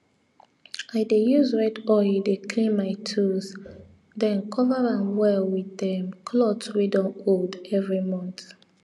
i dey use red oil dey clean my tools then cover am well with um cloth wey don old every month